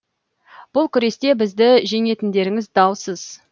бұл күресте бізді жеңетіндеріңіз даусыз